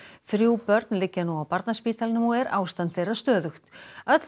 þrjú börn liggja nú á Barnaspítalanum og er ástand þeirra stöðugt öll